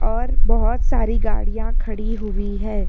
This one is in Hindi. और बहुत सारी गाड़िया खड़ी हुई है।